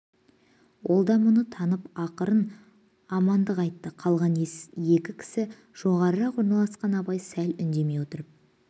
ол да мұны танып ақырын амандық айтты қалған екі кісі жоғарырақ орналасқан абай сәл үндемей отырып